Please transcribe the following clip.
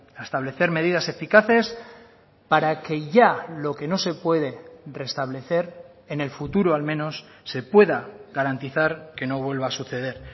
a establecer medidas eficaces para que ya lo que no se puede restablecer en el futuro al menos se pueda garantizar que no vuelva a suceder